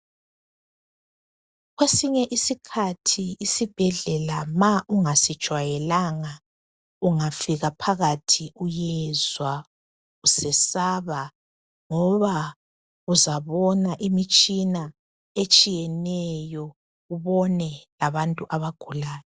Kwesinye isikhathi isibhedlela ma ungasijwayelanga ungafika phakathi uyezwa usesaba ngoba uzabona imitshina etshiyeneyo ubone labantu abagulayo.